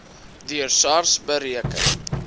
deur sars bereken